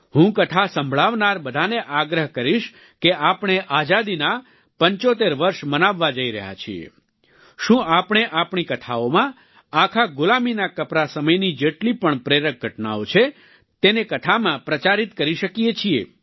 હું કથા સંભળાવનાર બધાને આગ્રહ કરીશ કે આપણે આઝાદીના 75 વર્ષ મનાવવા જઈ રહ્યા છીએ શું આપણે આપણી કથાઓમાં આખા ગુલામીના કપરા સમયની જેટલી પણ પ્રેરક ઘટનાઓ છે તેને કથામાં પ્રચારિત કરી શકીએ છીએ